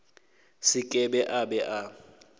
se ke a be a